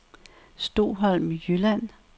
Stoholm Jylland